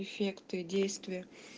эффекты действия